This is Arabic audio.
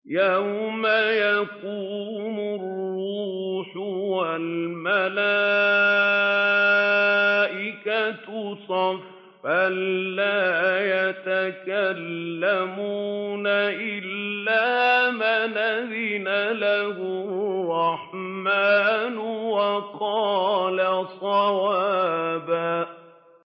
يَوْمَ يَقُومُ الرُّوحُ وَالْمَلَائِكَةُ صَفًّا ۖ لَّا يَتَكَلَّمُونَ إِلَّا مَنْ أَذِنَ لَهُ الرَّحْمَٰنُ وَقَالَ صَوَابًا